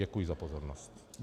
Děkuji za pozornost.